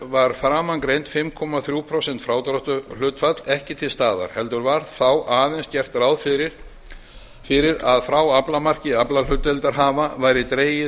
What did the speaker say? var framangreint fimm komma þrjú prósent frádráttarhlutfall ekki til staðar heldur var þá aðeins gert ráð fyrir að frá aflamarki aflahlutdeildarhafa væri dregið